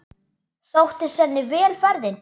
Sóttist henni vel ferðin.